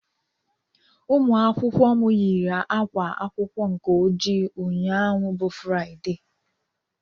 Ụmụakwụkwọ m yiri ákwá akwụkwọ nke ojii ụnyaahụ bụ Fraịde